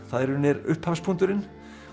það í raun er upphafspunkturinn